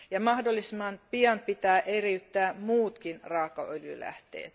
Mahdollisimman pian pitää eriyttää muutkin raakaöljylähteet.